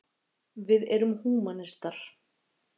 Við erum húmanistar.